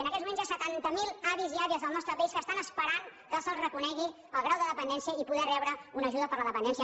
en aquests moments hi ha setanta mil avis i àvies del nostre país que estan esperant que se’ls reconegui el grau de dependència i poder rebre una ajuda per la dependència